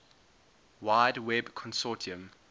wide web consortium